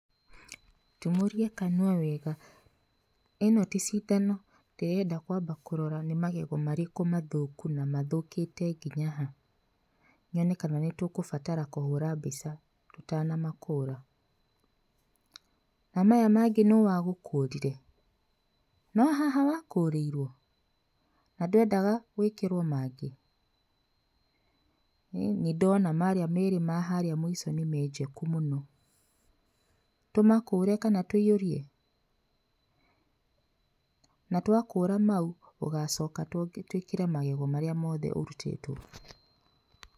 ''Tumũria kanũa wega, ĩno tĩ cindano ndĩrenda kwamba kũrora nĩ magego marĩkũ mathũku na mathũkĩte nginya ha, nyone kana nĩtũkũbatara kũhũra mbica tũtanamakũra, na maya mangĩ nũ wagũkũrire?no haha wakũrĩirwe? na ndwendaga gwĩkĩrwa mangĩ? nĩndona marĩa merĩ maharĩa mũico nĩmenjeku mũno, tũmakũre kana tũihũrie?na twakũra mau ũgacoka twĩkĩre magego marĩa mothe ũrĩtĩtwo.''